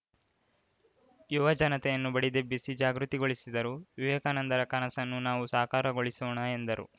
ಯುವಜನತೆಯನ್ನು ಬಡಿದೆಬ್ಬಿಸಿ ಜಾಗೃತಿಗೊಳಿಸಿದರು ವಿವೇಕಾನಂದರ ಕನಸನ್ನು ನಾವು ಸಾಕಾರಗೊಳಿಸೋಣ ಎಂದರು